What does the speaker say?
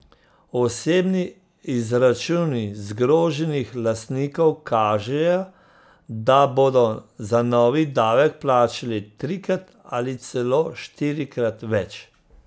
Osebni izračuni zgroženih lastnikov kažejo, da bodo za novi davek plačali trikrat ali celo štirikrat več.